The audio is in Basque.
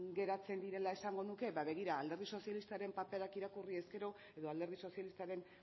geratzen direla esango nuke ba begira alderdi sozialistaren paperak irakurriz gero edo alderdi sozialistaren